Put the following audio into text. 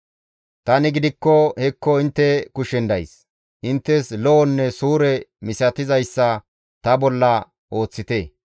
«Tani gidikko hekko intte kushen days; inttes lo7onne suure misatizayssa ta bolla ooththite.